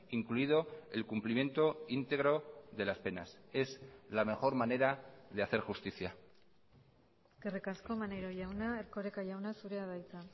incluido el cumplimiento íntegro de las penas es la mejor manera de hacer justicia eskerrik asko maneiro jauna erkoreka jauna zurea da hitza